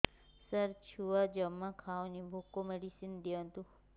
ସାର ଛୁଆ ଜମା ଖାଉନି ଭୋକ ମେଡିସିନ ଦିଅନ୍ତୁ